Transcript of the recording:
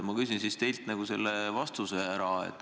Ma palun teilt sellele vastust.